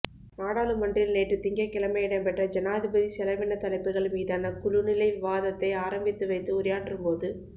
நாடாளுமன்றில் நேற்றுத் திங்கட்கிழமை இடம்பெற்ற ஜனாதிபதி செலவினத் தலைப்புகள் மீதான குழு நிலை விவாதத்தை ஆரம்பித்துவைத்து உரையாற்றும்போது